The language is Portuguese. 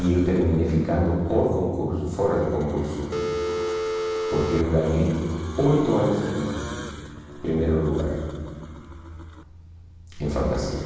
E eu terminei ficando o concurso fora do concurso, porque eu ganhei oito anos seguidos, em primeiro lugar, em fantasia.